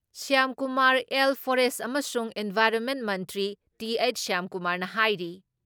ꯁ꯭ꯌꯥꯝꯀꯨꯃꯥꯔ ꯑꯦꯜ ꯐꯣꯔꯦꯁ ꯑꯃꯁꯨꯡ ꯏꯟꯚꯥꯏꯔꯣꯟꯃꯦꯟ ꯃꯟꯇ꯭ꯔꯤ ꯇꯤ.ꯍꯩꯆ. ꯁ꯭ꯌꯥꯝꯀꯨꯃꯥꯔꯅ ꯍꯥꯏꯔꯤ